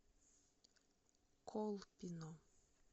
колпино